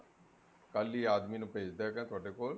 ਕੱਲ ਹੀ ਆਦਮੀ ਨੂੰ ਭੇਜਦਾ ਹੈਗਾ ਤੁਹਾਡੇ ਕੋਲ